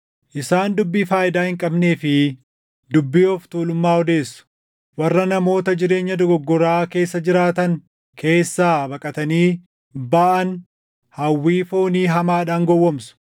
Isaan dubbii faayidaa hin qabnee fi dubbii of tuulummaa odeessu; warra namoota jireenya dogoggoraa keessa jiraatan keessaa baqatanii baʼan hawwii foonii hamaadhaan gowwoomsu.